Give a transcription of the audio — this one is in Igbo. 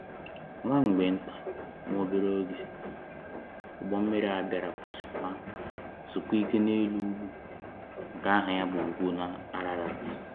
Nwa mgbe nta/nwa obere oge, ugbo mmiri a bịara kwụsị ma zuokwa ike n’elu ugwu nke aha ya bụ Ugwu Ararat.